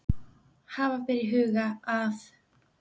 Hafa ber í huga að